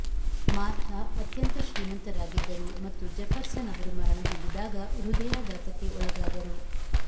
ಮಾರ್ಥಾ ಅತ್ಯಂತ ಶ್ರೀಮಂತರಾಗಿದ್ದರು ಮತ್ತು ಜೆಫರ್ಸನ್ ಅವರು ಮರಣಹೊಂದಿದಾಗ ಹೃದಯಾಘಾತಕ್ಕೆ ಒಳಗಾದರು